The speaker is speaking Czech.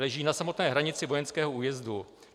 Leží na samotné hranici vojenského újezdu.